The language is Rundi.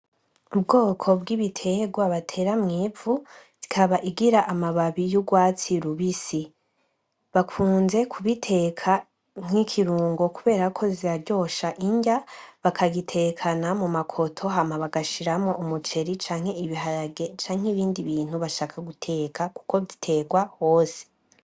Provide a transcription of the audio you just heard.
Ubwoko bw'ibiterwa batera mw'ivu bikaba bigira amababi yurwatsi rubisi .Bakunze kubiteka nk'ikirungo kuberako ziraryosha inrya bakazitekana mumakoto hama bagashiramwo umuceri canke ibiharage canke ibindi bintu bashaka guteka kuko ziterwa hose.